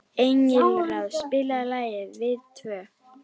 Engilráð, spilaðu lagið „Við tvö“.